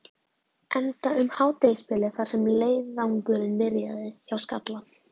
Enda um hádegisbilið þar sem leiðangurinn byrjaði, hjá Skalla.